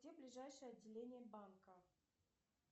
где ближайшее отделение банка